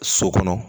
So kɔnɔ